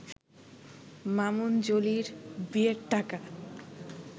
মামুন-জলির বিয়ের টাকা